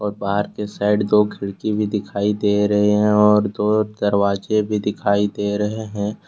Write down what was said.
बाहर के साइड दो खिड़की भी दिखाई दे रहे हैं और दो दरवाजे भी दिखाई दे रहे हैं।